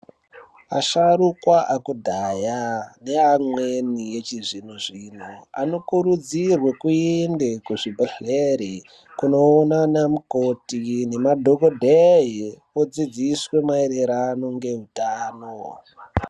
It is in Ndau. Asharukwa akudhaya ne amweni echi zvino zvino ano kurudzirwe kuende ku zvibhedhleri kuno ona ana mukoti nema dhokodheyi odzidziswe ma ererano nge utano.